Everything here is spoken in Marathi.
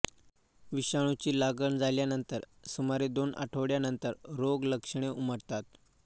विषाणुची लागण झाल्यानण्तर सुमारे दोन आठवडयानंतर रोगलक्षणे उमटतात